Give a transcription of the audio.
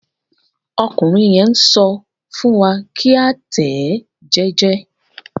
Ọkùnrin yẹn n sọ fún wa ki a tẹ ẹ jẹjẹ.